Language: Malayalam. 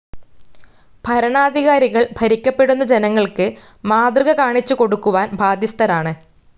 ഭരണാധികാരികൾ ഭരിക്കപ്പെടുന്ന ജനങ്ങൾക്ക് മാതൃകകാണിച്ചുകൊടുക്കുവാൻ ബാധ്യസ്ഥരാണ്.